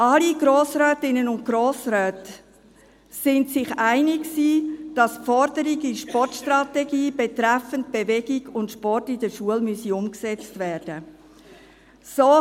Alle Grossrätinnen und Grossräte waren sich einig, dass die Forderung in der Sportstrategie betreffend Bewegung und Sport in der Schule umgesetzt werden müsse.